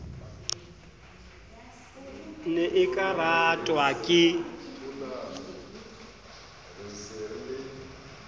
ne e ka ratwa ke